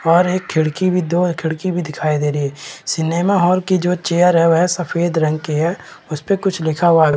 और एक खिड़की भी दो हैं खिड़की भी दिखाई दे रही हैं सिनेमा हॉल की जो चेयर वो है सफ़ेद रंग की है उसपे कुछ लिखा हुआ है।